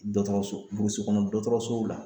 Dɔgɔtɔrɔso burusu kɔnɔ dɔgɔtɔrɔsow la.